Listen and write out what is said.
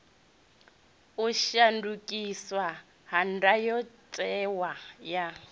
u shandukiswa ha ndayotewa ya